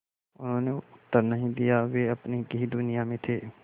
उन्होंने उत्तर नहीं दिया वे अपनी ही दुनिया में थे